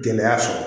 Denya sɔrɔ